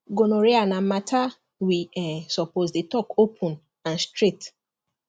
gonorrhea na matter we um suppose dey talk open and straight